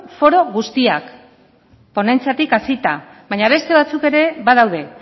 foro guztiak ponentziatik hasita baina beste batzuk ere badaude